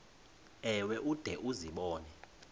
ewe ude uzibone